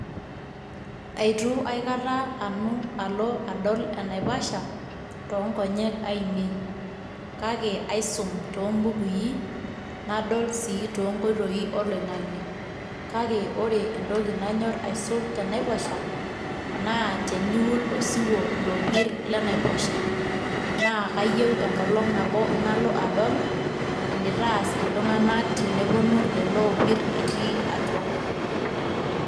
Aitu aiata nanu alo adol enaipasha too nkonye aine kake aisum too mbukui nadol sii too nkoitoi oloingange kake ore entoki nanyor aisul tenaiposha naa teniwul osiwuo ilopir lenaiposha naa kayieu enkolong nabo nalo adol enitaas iltunganak teneponu lelo opir itii atua.